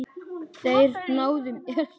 Þeir náðu mér.